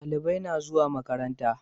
Dalibai na zuwa makaranta